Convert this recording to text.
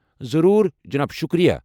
ضروٗر، جناب شُکریہ۔